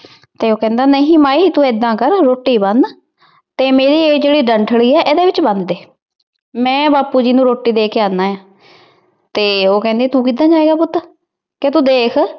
ਤੇ ਉਹ ਕਹਿੰਦਾ ਨਹੀਂ ਮਾਈ ਤੂੰ ਏਦਾਂ ਕਰ, ਰੋਟੀ ਬੰਨ ਤੇ ਮੇਰੀ ਇਹ ਜਿਹੜੀ ਡੰਠਲੀ ਐ ਇਹਦੇ ਵਿੱਚ ਬੰਨ ਦੇ। ਮੈਂ ਬਾਪੁ ਜੀ ਨੂੰ ਰੋਟੀ ਦੇ ਕੇ ਆਉਨਾ ਆ ਤੇ ਉਹ ਕਹਿੰਦੀ ਤੂੰ ਕਿੱਦਾਂ ਜਾਏਂਗਾ ਪੁੱਤ? ਤੇ ਤੂੰ ਦੇਖ